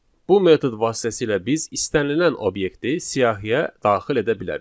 Bu metod vasitəsilə biz istənilən obyekti siyahıya daxil edə bilərik.